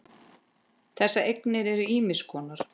Þessar eignir eru ýmiss konar.